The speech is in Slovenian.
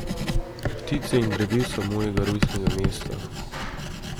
Ptice in drevesa mojega rojstnega mesta.